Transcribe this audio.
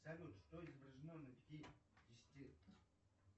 салют что изображено на пятидесяти